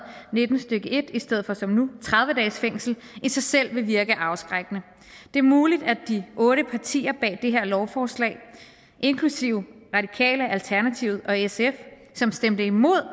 nitten stykke en i stedet for som nu tredive dages fængsel i sig selv vil virke afskrækkende det er muligt at de otte partier bag det her lovforslag inklusive radikale alternativet og sf som stemte imod